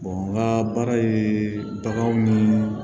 n ka baara ye baganw ni